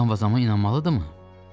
Müqam vazama inanmalıdırmı?